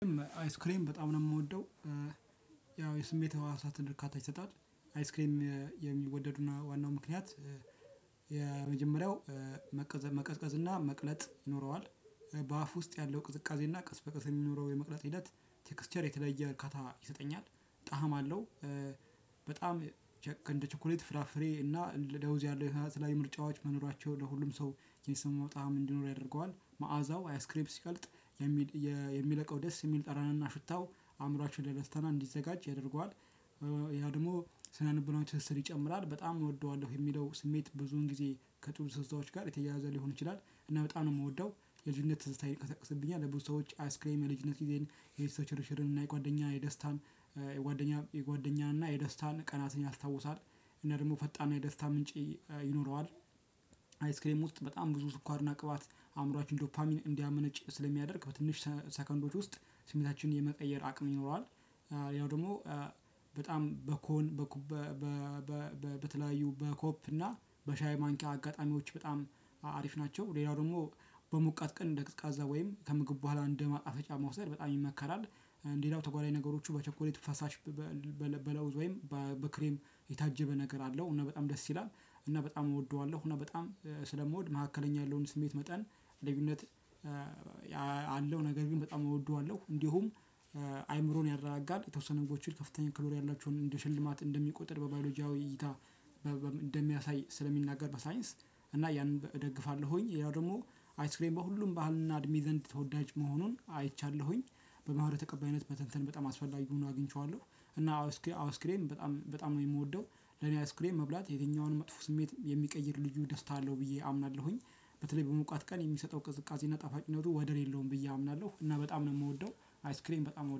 አይስክሬም በጣም ነው የምወደው ያው የስሜት ህዋሳትን እርካታ ይሰጣል። አይስክሬም የሚወደድና ዋናው ምክንያት። የመጀመሪያው መቀዝቀዝ እና መቅለጥ ይኖረዋል። በአፍ ውስጥ ያለው ቅዝቃዜና ቀስ በቀስ የሚኖረው የመቅለጥ ሂደት ቴክስቸር የተለይ እርካታ ይሰጠኛል። ጣዕም አለው። በጣም እንደ ቸኮሌት ፍራፍሬ እና ለውዝ ያለ የተለያዩ ምርጫዎች መኖራቸው ለሁሉም ሰው የሚስማማው ጣዕም እንዲኖር ያደርገዋል። መዓዛው አይስክሬም ሲቀልጥ የሚለቀው ደስ የሚል ጠረንና ሽታው አእምሮአችን ለደስታ እንዲዘጋጅ ያደርገዋል። ያው ደግሞ ስነ ልቦናዊ ትስስር ይጨምራል በጣም እወደዋለሁ የሚለው ስሜት ብዙን ጊዜ ከጥር ትዝታዎች ጋር የተያያዘ ሊሆን ይችላል። እና በጣም ነው የምወደው። የልጅነት ትዝታዬን ይቀሰቅስብኛል። ለብዙ ሰዎች አይስክሬም የልጅነት ጊዜን የቤተሰብ ሽርሽርን እና የጓደኛ የደስታን የጓደኛ የጓደኛ እና የደስታን ቀናትን ያስታውሳል። እነ ደግሞ ፈጣን የደስታ ምንጭ ይኖረዋል። አይስክሬም ውስጥ በጣም ብዙ ስኳር እና ቅባት አእምሮአችን ዶፓሚን እንዲያመነጭ ስለሚያደርግ በትንሽ ሰከንዶች ውስጥ ስሜታችንን የመቀየር አቅም ይኖረዋል። ያው ደግሞ በጣም በኮን በተለያዩ በኮፕ እና በሻይ ማንኪያ አጋጣሚዎች በጣም አሪፍ ናቸው። ሌላው ደግሞ በሞቃት ቀን እንደ ቀዝቃዛ ወይም ከምግብ በኋላ እንደ ማጣፈጫ መውሰድ በጣም ይመከራል። ሌላው ነው ተጓዳኝ ነገሮቹ በቸኮሌት ፈሳሽ። በለውዝ ወይም በክሬም የታጀበ ነገር አለው እና በጣም ደስ ይላል። እና በጣም እወደዋለሁ እና በጣም ስለምወድ መካከለኛ ያለውን ስሜት መጠን ልዩነት አለው ነገር ግን በጣም እወደዋለሁ። እንዲሁም አእምሮን ያረጋጋል የተወሰነ ምግቦችን ከፍተኛ ካሎሪ ያላቸውን እንደ ሽልማት እንደሚቆጥር በባዮሎጂያዊ እይታ። እንደሚያሳይ ስለሚናገር በሳይንስ እና ያንን እደግፋለሁኝ። ያው ደግሞ አይስክሬም በሁሉም ባህልና እድሜ ዘንድ ተወዳጅ መሆኑን አይቻለሁኝ። በባህሉ ተቀባይነት መተንተን በጣም አስፈላጊ ሆኖ አግኝቼዋለሁ። እና አዎ አይስክሬም በጣም በጣም ነው የምወደው። ለኔ አይስክሬም መብላት የትኛውንም መጥፎ ስሜት የሚቀይር ልዩ ደስታ አለው ብዬ አምናለሁኝ። በተለይ በሞቃት ቀን የሚሰጠው ቅዝቃዜና ጣፋጭነቱ ወደር የለውም ብዬ አምናለሁ። እና በጣም ነው የምወደው። አይስክሬም በጣም